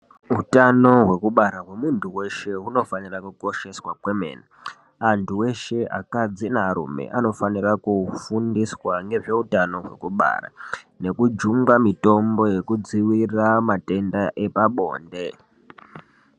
Utano hwekubara hwemuntu weshe unofanira kukosheswa kwemene antu eshe akadzi nearume anofanira kufundiswa nezveutano wekubara nekujungwa mitombo nekudzivirira matenda epabonde.